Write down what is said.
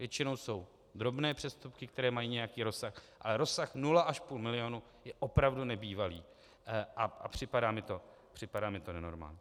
Většinou jsou drobné přestupky, které mají nějaký rozsah, ale rozsah nula až půl milionu je opravdu nebývalý a připadá mi to nenormální.